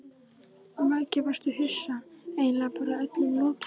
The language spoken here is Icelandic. Mikið varstu hissa, eiginlega bara öllum lokið.